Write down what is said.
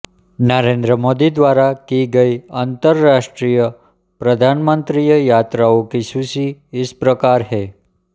नरेन्द्र मोदी द्वारा की गयीं अन्तर्राष्ट्रीय प्रधानमन्त्रीय यात्राओं की सूची इस प्रकार है